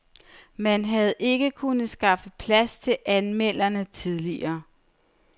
Man havde ikke kunnet skaffe plads til anmelderne tidligere.